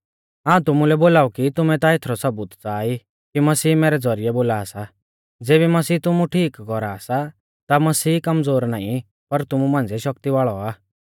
हाऊं तुमुलै बोलाऊ कि तुमै ता एथरौ सबूत च़ाहा ई कि मसीह मैरै ज़ौरिऐ बोला सा ज़ेबी मसीह तुमु ठीक कौरा सा ता मसीह कमज़ोर नाईं पर तुमु मांझ़िऐ शक्ति वाल़ौ आ